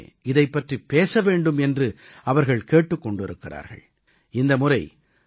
காலத்துக்கு முன்பாகவே இதைப் பற்றிப் பேச வேண்டும் என்று அவர்கள் கேட்டுக் கொண்டிருக்கிறார்கள்